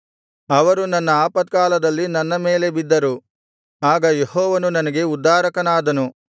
ಅವರು ನನ್ನ ಆಪತ್ಕಾಲದಲ್ಲಿ ನನ್ನ ಮೇಲೆ ಬಿದ್ದರು ಆಗ ಯೆಹೋವನು ನನಗೆ ಉದ್ಧಾರಕನಾದನು